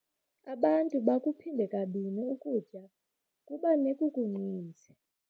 Abantu bakuphinde kabini ukutya kuba nekukuninzi.